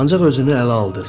Ancaq özünü ələ aldı.